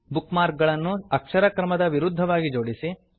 bookmark ಗಳನ್ನು ಅಕ್ಷರ ಕ್ರಮದ ವಿರುದ್ಧವಾಗಿ ಜೋಡಿಸಿ